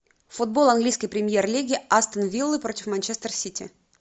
футбол английской премьер лиги астон вилла против манчестер сити